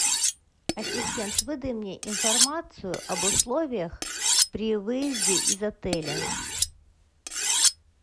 ассистент выдай мне информацию об условиях при выезде из отеля